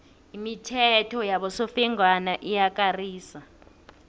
imithetho yabosofengwana iyakarisa